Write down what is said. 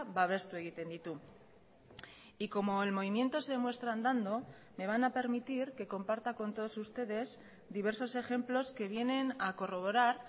babestu egiten ditu y como el movimiento se demuestra andando me van a permitir que comparta con todos ustedes diversos ejemplos que vienen a corroborar